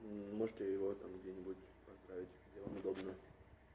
можете его там где-нибудь поздравить где вам удобно